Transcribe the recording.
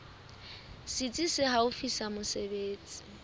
setsi se haufi sa mesebetsi